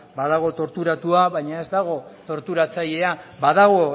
badago torturatua baina ez dago torturatzailea badago